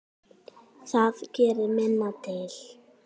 Það gerir minna til.